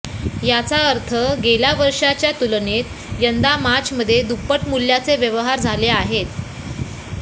याचा अर्थ गेल्या वर्षीच्या तुलनेत यंदा मार्चमध्ये दुप्पट मूल्याचे व्यवहार झाले आहेत